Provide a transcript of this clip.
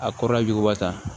A kɔrɔla jugu wa tan